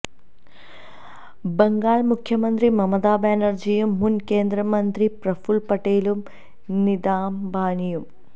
ബംഗാള് മുഖ്യമന്ത്രി മമതാ ബാനര്ജിയും മുന് കേന്ദ്ര മന്ത്രി പ്രഫൂല് പട്ടേലും നിതാ അംബാനിയും